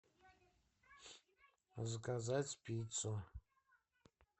заказать пиццу